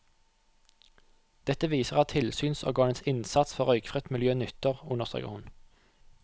Dette viser at tilsynsorganenes innsats for røykfritt miljø nytter, understreker hun.